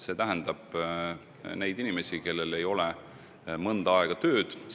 Silmas on peetud inimesi, kellel ei ole mõnda aega tööd.